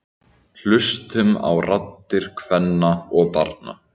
Hlustum á raddir kvenna og barna